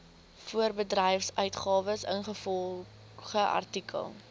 voorbedryfsuitgawes ingevolge artikel